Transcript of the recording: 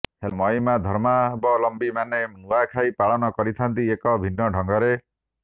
ହେଲେ ମହିମାଧର୍ମାବଲମ୍ବୀମାନେ ନୂଆଁଖାଇ ପାଳନ କରିଥାନ୍ତି ଏକ ଭିନ୍ନ ଢଙ୍ଗରେ